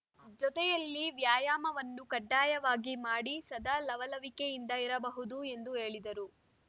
ಜೊತೆಯಲ್ಲಿ ವ್ಯಾಯಾಮವನ್ನು ಕಡ್ಡಾಯವಾಗಿ ಮಾಡಿ ಸದಾ ಲವಲವಿಕೆಯಿಂದ ಇರಬಹುದು ಎಂದು ಹೇಳಿದರು